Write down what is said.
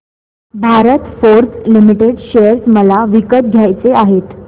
Bharat Forge limited share मला विकत घ्यायचे आहेत